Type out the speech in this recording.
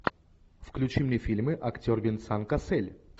включи мне фильмы актер венсан кассель